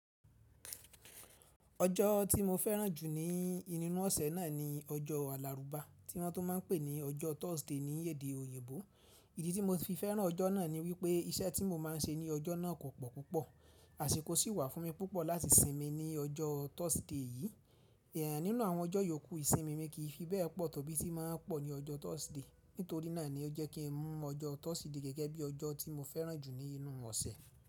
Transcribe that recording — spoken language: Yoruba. Ọjọ́ tí mo fẹ́ràn jù ní inú ọ̀sẹ̀ náà ni ọjọ́ Àlàrúbá, tí wọ́n tún ma ń pè ní ọjọ́ Thursday ní èdè òyìnbó. Ìdí tí mo ti fi fẹ́ràn ọjọ́ náà ni wípé iṣẹ́ tí mo ma ń ṣe ní ọjọ́ náà kò pọ̀ púpọ̀, àsìkò sì wà fún mi púpọ̀ láti sinmi ní ọjọ́ Thursday yí. Èyàn nínú àwọn ọjọ́ yókù, isimimi kìí fi bẹ́ẹ̀ pọ̀ tó bí tí ma ń pọ̀ ní ọjọ́ Thursday. Nítorí náà ni ó jẹ́ kí n mú ọjọ́ Thursday gẹ́gẹ́ bí ọjọ́ tí mo fẹ́ràn jù ní inú ọ̀sẹ̀.